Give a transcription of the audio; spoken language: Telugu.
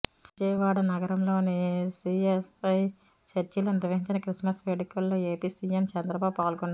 విజయవాడ నగరంలోని సీఎస్ఐ చర్చిలో నిర్వహించిన క్రిస్మస్ వేడుకల్లో ఏపీ సీఎం చంద్రబాబు పాల్గొన్నారు